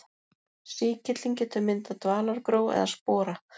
Sýkillinn getur myndað dvalagró eða spora.